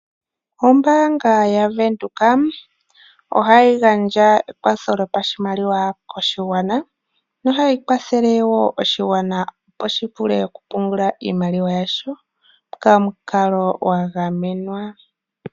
Ombaanga yaVenduka ohayi gandja ekwatho lyopashimaliwa koshigwana, ohayi kwathele wo oshigwana opo shivule okupungula iimaliwa yasho pamukalo gagamenwa.